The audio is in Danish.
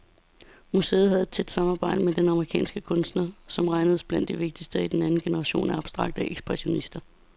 Museet havde et tæt samarbejde med denne amerikanske kunstner, som regnedes blandt de vigtigste i den anden generation af abstrakte ekspressionister.